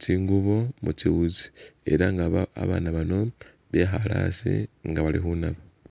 tsingubo mutsiwuzi eranga ba- abana bano bekhale asi nga bali khunaba